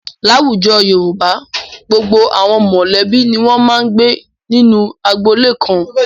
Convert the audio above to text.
Láwùjọ Yorùbá, gbogbo àwọn mọ̀lẹ́bí ni wọ́n máa ń gbé nínú agboolé kan.